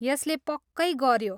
यसले पक्कै गऱ्यो।